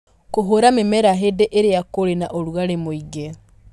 Kũhũũra mĩmera hĩndĩ ĩrĩa kũrĩ na ũrugarĩ mũingĩ.